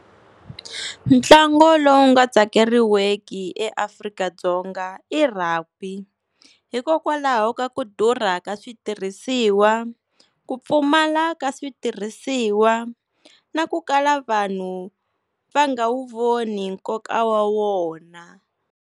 Ntlangu lowu nga tsakeriweki eAfrika-Dzonga i Rugby, hikokwalaho ka ku durha ka switirhisiwa ku pfumala ka switirhisiwa na ku kala vanhu va nga wu voni nkoka wa wona.